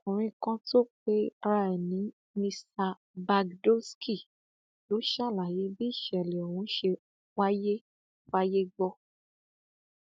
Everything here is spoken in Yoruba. ọkùnrin kan tó pera ẹ ní mr bhagdoosky ló ṣàlàyé bí ìṣẹlẹ ọhún ṣe wáyé fáyé gbọ